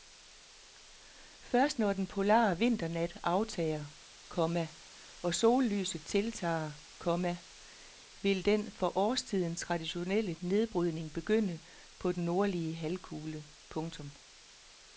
Først når den polare vinternat aftager, komma og sollyset tiltager, komma vil den for årstiden traditionelle nedbrydning begynde på den nordlige halvkugle. punktum